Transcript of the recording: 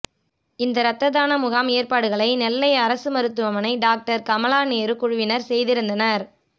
இந்த ரத்த தான முகாம் ஏற்பாடுகளை நெல்லை அரசு மருத்துவமனை டாக்டர் கமலா நேரு குழுவினர் செய்திருந்தனர்